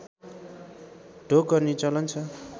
ढोग गर्ने चलन छ